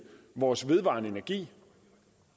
vores vedvarende energi